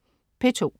P2: